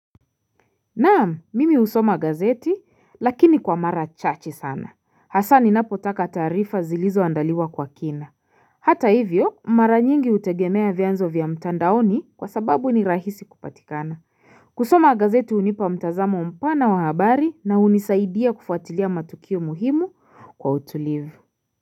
Naam mimi usoma gazeti lakini kwa mara chache sana hasa ninapotaka taarifa zilizoandaliwa kwa kina Hata hivyo mara nyingi utegemea vyanzo vya mtandaoni kwa sababu ni rahisi kupatikana kusoma gazeti unipa mtazamo mpana wa habari na unisaidia kufuatilia matukio muhimu kwa utulivu.